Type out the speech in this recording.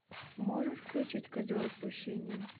можешь включить козел отпущения